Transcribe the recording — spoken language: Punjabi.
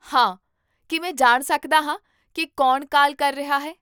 ਹਾਂ, ਕੀ ਮੈਂ ਜਾਣ ਸਕਦਾ ਹਾਂ ਕੀ ਕੌਣ ਕਾਲ ਕਰ ਰਿਹਾ ਹੈ?